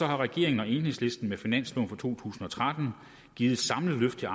har regeringen og enhedslisten med finansloven for to tusind og tretten givet et samlet løft til